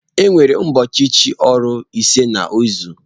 Enwere ụbọọchi chị ọrụ ise n'izu.